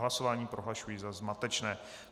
Hlasování prohlašuji za zmatečné.